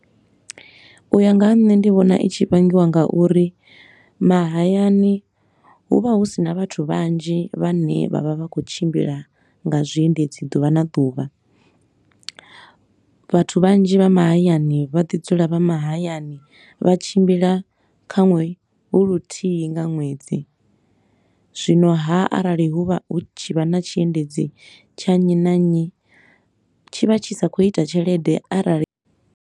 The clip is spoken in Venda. U ya nga ha nṋe ndi vhona i tshi vhangiwa nga uri mahayani hu vha hu si na vhathu vhanzhi vhane vha vha vha khou tshimbila nga zwiendedzi ḓuvha na ḓuvha. Vhathu vhanzhi vha mahayani vha ḓi dzula vha mahayani, vha tshimbila kha ṅwe hu luthihi nga ṅwedzi, zwino haa, arali hu vha hu tshi vha na tshiendedzi tsha nnyi na nnyi tshi vha tshi sa khou ita tshelede arali.